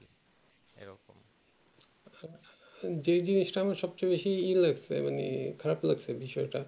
যেই জিনিসটা আমার সব থেকে বেশি ই লাগছে মানে খারাপ লাগছে বিষয়েটা